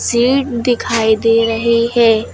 Seat दिखाई दे रही है।